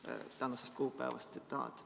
" See on tänasest kuupäevast tsitaat.